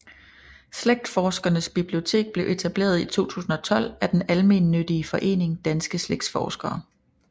Slægtsforskernes Bibliotek blev etableret i 2012 af den almennyttige forening Danske Slægtsforskere